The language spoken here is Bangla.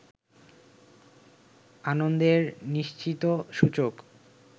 আনন্দের নিশ্চিত সূচক